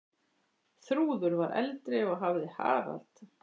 Þrúður var eldri og hafði Harald.